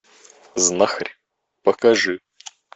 знахарь покажи